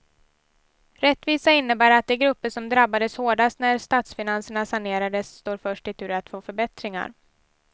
Rättvisa innebär att de grupper som drabbades hårdast när statsfinanserna sanerades står först i tur att få förbättringar.